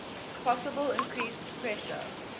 possible increased pressure